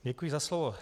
Děkuji za slovo.